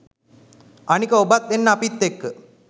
අනික ඔබත් එන්න අපිත් එක්ක